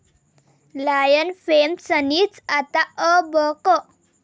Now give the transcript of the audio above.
Lion' fame सनीचं आता 'अ ब क'!